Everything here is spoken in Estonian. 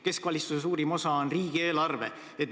Keskvalitsuse suurim osa on riigieelarve.